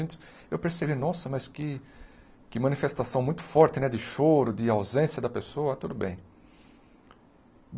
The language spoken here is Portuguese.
Então eu percebi, nossa, mas que que manifestação muito forte né de choro, de ausência da pessoa, tudo bem.